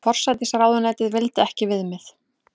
Forsætisráðuneytið vildi ekki viðmið